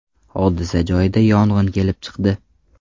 Hodisa joyida yong‘in kelib chiqdi.